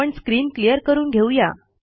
आपण screen clear करून घेऊ या